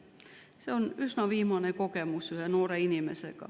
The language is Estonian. Sellise kogemuse sai üsna hiljuti üks noor inimene.